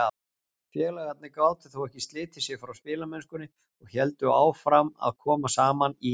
Félagarnir gátu þó ekki slitið sig frá spilamennskunni og héldu áfram að koma saman í